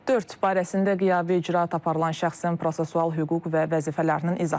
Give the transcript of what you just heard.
Dörd, barəsində qiyabi icraat aparılan şəxsin prosessual hüquq və vəzifələrinin izahı.